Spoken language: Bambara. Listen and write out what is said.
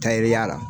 Tayɛriya la